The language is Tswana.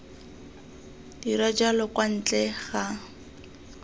dira jalo kwa ntle ga